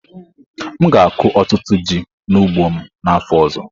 M ga-akụ ọtụtụ ji n'ugbo m n'afọ ọzọ.